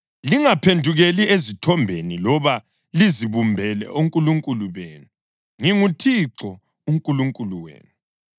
Lingaphendukeli ezithombeni loba lizibumbele onkulunkulu benu. NginguThixo uNkulunkulu wenu.